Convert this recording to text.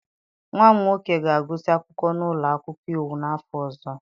Nwa m nwoke ga-agụsị akwụkwọ n'ụlọ akwụkwọ iwu n'afọ ọzọ.